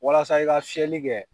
Walasa i ka seeli kɛ